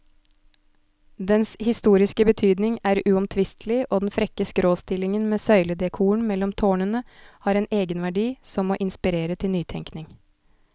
Dens historiske betydning er uomtvistelig, og den frekke skråstillingen med søyledekoren mellom tårnene har en egenverdi som må inspirere til nytenkning.